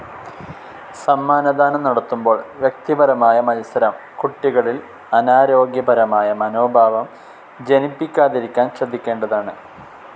സമ്മാനദാനം നടത്തുമ്പോൾ വ്യക്തിപരമായ മത്സരം കുട്ടികളിൽ അനാരോഗ്യപരമായ മനോഭാവം ജനിപ്പിക്കാതിരിക്കാൻ ശ്രദ്ധിക്കേണ്ടതാണ്.